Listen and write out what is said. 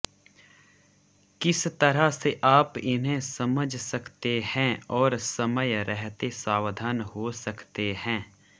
किस तरह से आप इन्हें समझ सकते हैं और समय रहते सावधान हो सकते हैं